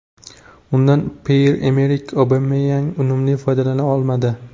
Undan Pyer-Emerik Obameyang unumli foydalana olmadi.